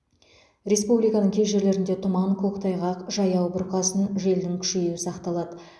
республиканың кей жерлерінде тұман көктайғақ жаяу бұрқасын желдің күшейюі сақталады